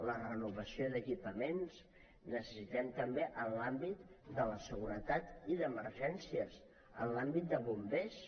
la renovació d’equipaments la necessitem també en l’àmbit de la seguretat i d’emergències en l’àmbit de bombers